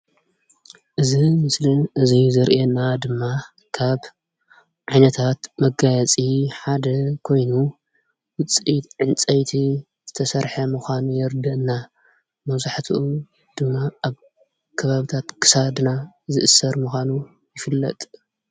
እዚ ምስሊ እዚ ዘርእየና ድማ ካብ ዓይነታት መጋየፂ ሓደ ኮይኑ ዉፅኢት ዕንፀይቲ ዝተሰርሐ ምዃኑ የረድኣና። መብዛሕቲኦም ድማ ኣብ ከባብታት ክሳድና ዝእሰር ምኳኑ ይፍለጥ።